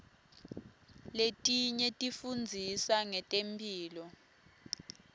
letinye tifundzisa ngetemphilo